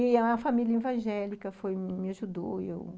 E família evangélica foi, me ajudou e eu...